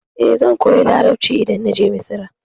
Eh, zan koya Larabci idan na je Misra.